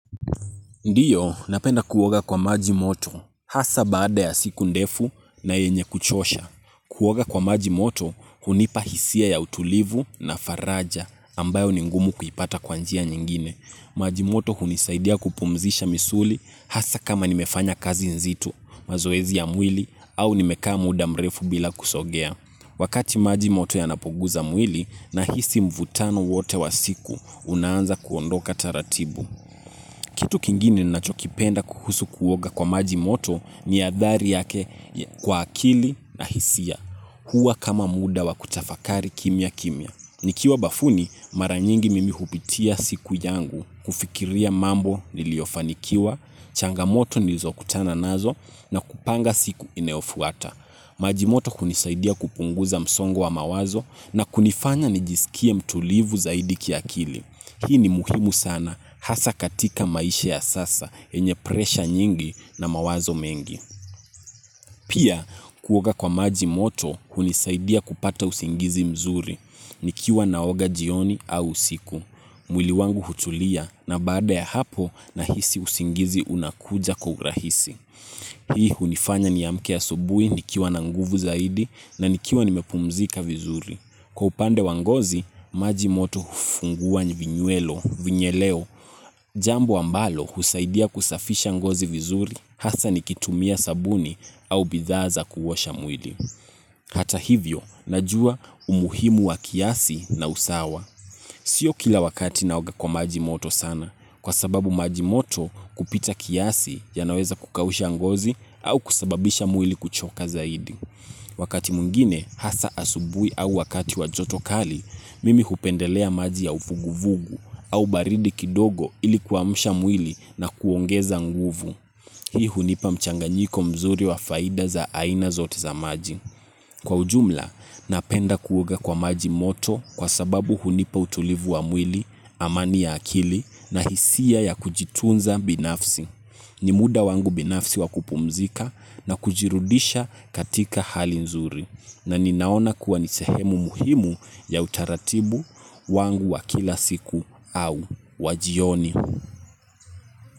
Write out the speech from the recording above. Ndio, napenda kuoga kwa maji moto, hasa baada ya siku ndefu na yenye kuchosha. Kuoga kwa maji moto, kunipa hisia ya utulivu na faraja, ambayo ni ngumu kuipata kwa njia nyingine. Maji moto hunisaidia kupumzisha misuli, hasa kama nimefanya kazi nzito, mazoezi ya mwili, au nimekaa muda mrefu bila kusogea. Wakati maji moto yanapoguza mwili, nahisi mvutano wote wa siku, unaanza kuondoka taratibu. Kitu kingine ninachokipenda kuhusu kuoga kwa maji moto ni adhari yake kwa akili na hisia. Huwa kama muda wa kutafakari kimya kimya nikiwa bafuni, mara nyingi mimi hupitia siku yangu. Kufikiria mambo niliyofanikiwa, changamoto nizokutana nazo na kupanga siku inayofuata. Maji moto hunisaidia kupunguza msongo wa mawazo na kunifanya nijisikie mtulivu zaidi kiakili. Hii ni muhimu sana hasa katika maisha ya sasa yenye puresha nyingi na mawazo mengi. Pia, kuoga kwa maji moto, hunisaidia kupata usingizi mzuri. Nikiwa naoga jioni au usiku. Mwili wangu hutulia, na baada ya hapo, nahisi usingizi unakuja kwa urahisi. Hii hunifanya niamke asubuhi, nikiwa na nguvu zaidi, na nikiwa nimepumzika vizuri. Kwa upande wa ngozi, maji moto hufungua vinyuelo, vinyeleo, jambo ambalo husaidia kusafisha ngozi vizuri, hasa nikitumia sabuni au bidhaa za kuoasha mwili. Hata hivyo, najua umuhimu wa kiasi na usawa. Sio kila wakati naoga kwa maji moto sana, kwa sababu maji moto kupita kiasi yanaweza kukausha ngozi au kusababisha mwili kuchoka zaidi. Wakati mwingine hasa asubuhi au wakati wa joto kali, mimi hupendelea maji ya vuguvugu au baridi kidogo ili kuamsha mwili na kuongeza nguvu. Hii hunipa mchanganyiko mzuri wa faida za aina zote za maji. Kwa ujumla, napenda kuoga kwa maji moto kwa sababu hunipa utulivu wa mwili, amani ya akili na hisia ya kujitunza binafsi. Ni muda wangu binafsi wa kupumzika na kujirudisha katika hali nzuri na ninaona kuwa ni sehemu muhimu ya utaratibu wangu wa kila siku au wa jioni.